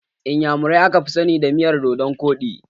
Inyamurai aka fi sani da miyan dodonkoɗi